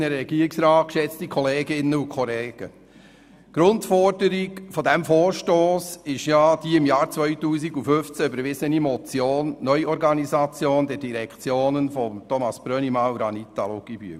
Die Grundforderung dieses Vorstosses ist die im Jahr 2015 von Grossrat Brönnimann und Grossrätin Luginbühl eingereichte Motion «Neuorganisation der Direktionen im Hinblick auf die Legislaturperiode 2018–2022».